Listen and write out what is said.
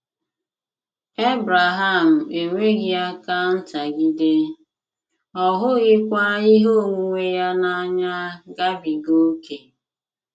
Ebreham enweghị aka ntagide, ọ hụghịkwa ihe onwunwe ya n’anya gabiga ókè.